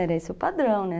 Era esse o padrão, né?